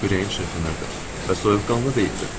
Ürəyim çırpınırdı və soyuqqanlı deyildim.